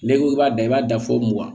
N'i ko k'i b'a da i b'a da fɔ mugan